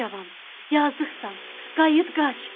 Ey cavan, yazıqsan, qayıt qaç.